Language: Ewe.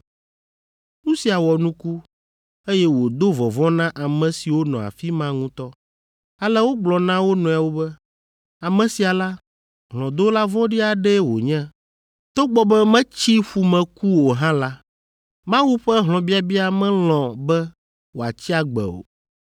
Nu sia wɔ nuku, eye wòdo vɔvɔ̃ na ame siwo nɔ afi ma ŋutɔ, ale wogblɔ na wo nɔewo be, “Ame sia la, hlɔ̃dola vɔ̃ɖi aɖee wònye; togbɔ be metsi ƒu me ku o hã la, Mawu ƒe hlɔ̃biabia melɔ̃ be wòatsi agbe o.”